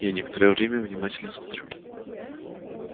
я некоторое время внимательно смотрю